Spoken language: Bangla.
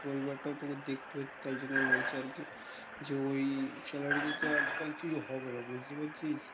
পরিবারটাও তোকে দেখতে হচ্ছে তাই জন্য বলছি আরকি যে ওই salary তে তো আজকাল কিছু হবে না বুঝতে পেরেছিস?